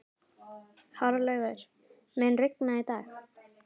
Hárlaugur, mun rigna í dag?